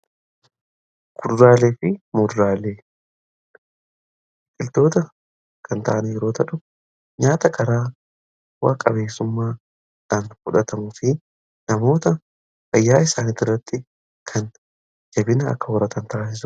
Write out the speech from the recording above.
gudraalee fi mudraale tiltoota kan taana yeroota dhu nyaata karaa waaqabeessummaadhaan fudhatamufi namoota fayyaa isaanii duratti kan jabina akka warratan taassua